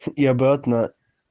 и обратно